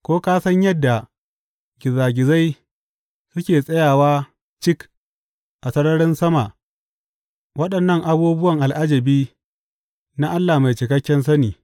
Ko ka san yadda gizagizai suke tsayawa cik a sararin sama, waɗannan abubuwa al’ajabi na mai cikakken sani.